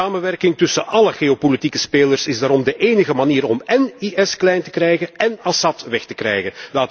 Samenwerking tussen alle geopolitieke spelers is daarom de enige manier om én IS klein te krijgen én Assad weg te krijgen.